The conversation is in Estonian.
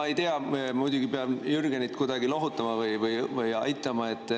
Ma ei tea, ma muidugi pean Jürgenit kuidagi lohutama või aitama.